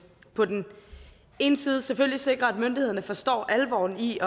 på den ene side selvfølgelig sikrer at myndighederne forstår alvoren i